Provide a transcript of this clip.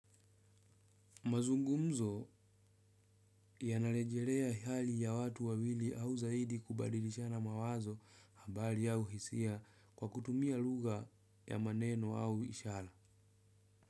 Mazungumzo yanarejelea hali ya watu wawili au zaidi kubadilishana mawazo habari au hisia kwa kutumia lugha ya maneno au ishara.